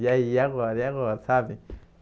E aí, agora, e agora, sabe?